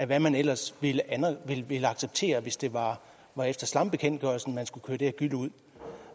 hvad man ellers ville acceptere hvis det var var efter slambekendtgørelsen man skulle køre det her gylle ud